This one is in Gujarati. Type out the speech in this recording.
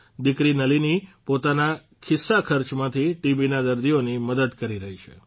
દિકરી નલીની પોતાના ખિસ્સાખર્ચમાંથી ટીબીના દર્દીઓની મદદ કરી રહી છે